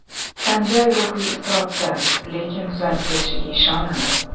Sanjay ruhiy iztirobda, lekin tuzalib ketishiga ishonadi.